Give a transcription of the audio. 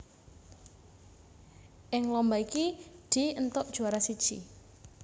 Ing lomba iki Dee éntuk juwara siji